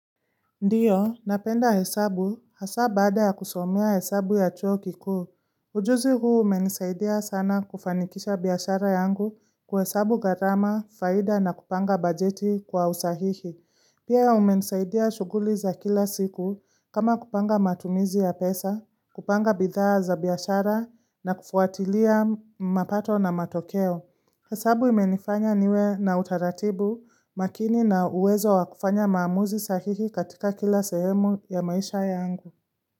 Ndiyo, napenda hesabu hasa baada ya kusomea hesabu ya chuo kikuu. Ujuzi huu umenisaidia sana kufanikisha biashara yangu kwa hesabu gharama, faida na kupanga bajeti kwa usahihi. Pia umenisaidia shughuli za kila siku kama kupanga matumizi ya pesa, kupanga bidhaa za biashara na kufuatilia mapato na matokeo. Hasabu imenifanya niwe na utaratibu makini na uwezo wa kufanya maamuzi sahihi katika kila sehemu ya maisha yangu.